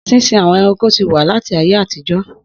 Sísin àwọn ẹranko ti wà láti ayé àtijọ́.